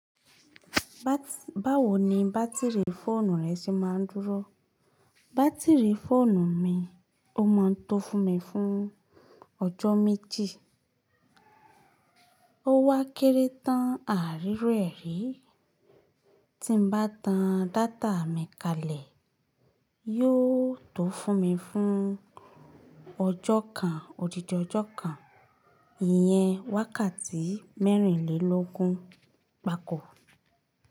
Báwo ni bátìrì fóònù rẹ ṣe máa ń dúró? Bátìrì fóònù mi ó ma ń tó fún mi fún ọjọ́ méjì. Ó wá kéré tán àá ri iru e rii. Tí m bá tan data mi kalẹ̀, yóò tó fún mi fún ọjọ́ kan, òdídi ọjọ́ kan. Iyẹn wákàtí mẹ́rìnlélógún gbákó.